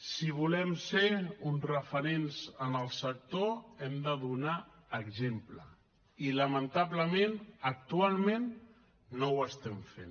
si volem ser uns referents en el sector hem de donar exemple i lamentablement actualment no ho estem fent